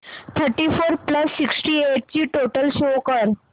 thirty four plus sixty eight ची total show कर